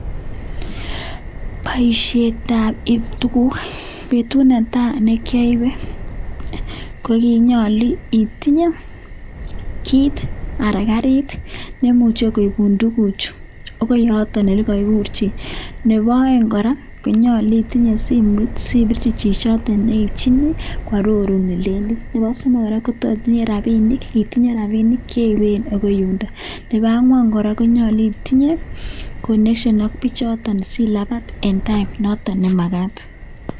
poisheet ap ipeet ap tugut petut netai nekiapee tuguk ko kiachheng kiit neiipee ako nyundok kora konyalu itinyee simeet singaleleen